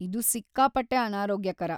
ಇದು ಸಿಕ್ಕಾಪಟ್ಟೆ ಅನಾರೋಗ್ಯಕರ.